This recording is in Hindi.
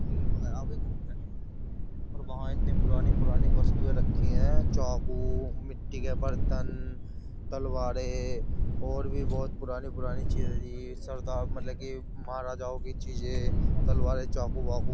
और वहाँ इतनी पुरानी पुरानी वस्तुएं रखी हैं चाकू मिट्टी के बर्तन तलवारें और भी बहुत पुरानी पुरानी चीजें सरदार मतलब कि महाराजाओं की चीजें तलवार चाकू वाकू --